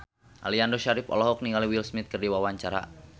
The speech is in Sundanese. Aliando Syarif olohok ningali Will Smith keur diwawancara